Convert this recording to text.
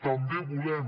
també volem